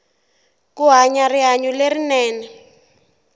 ku hanya rihanyu lerinene